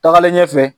Tagalen ɲɛfɛ